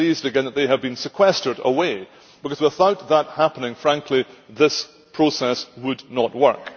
I am pleased, again, that they have been sequestered away because without that happening, quite frankly, this process would not work.